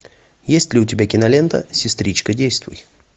есть ли у тебя кинолента сестричка действуй